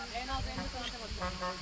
Nə atırsan təpəyə bax?